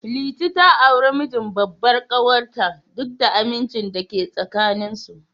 Liti ta auri mijin babbar ƙawar ta, duk da amincin da yake tsakanin su.